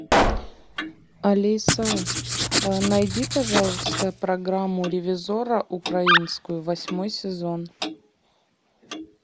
алиса найди пожалуйста программу ревизорро украинскую восьмой сезон